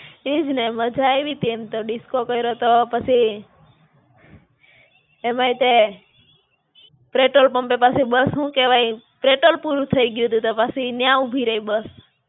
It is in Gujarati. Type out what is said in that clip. ઈજ ને. માજા આયવી તી એમ તો disco કયરો તો, પછી એમાંય તે, petrol pump પાસે બસ હું કેવાય petrol પૂરું થઇ ગયું તું. તો પછી ન્યાં ઉભી રહી બસ.